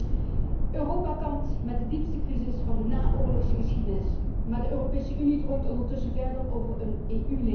Europa kampt met de diepste crisis van de naoorlogse geschiedenis. Maar de Europese Unie droomt intussen verder over een EU leger.